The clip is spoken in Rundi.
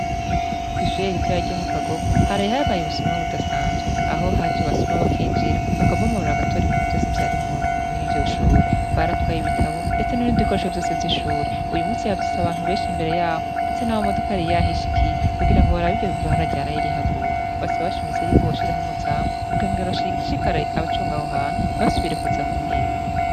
Kw'ishuri ritoyi ryo mu kagogo haraye habaye ubusomwa budasanzwe .Aho hajye basoma bakinjira bakabomorra agatora ibintu byose byari mur'iryo shure. Baratwaye ibitabo ndetse n'ibintidi bikoresho byose vy'ishuri .Uyu munsi yavyise abantu benshi imbere yabo ndetse n'abamodoka ariyahishikiye kubgira ngo barabibyo bararyarayirihaguwe basaba bashimitse y'o kuboshiraho umuzamu kugenger bashikare abacungaho hantu ntibasubire kuza kuhiba.